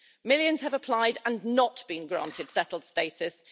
Millions have applied and not been granted settled status.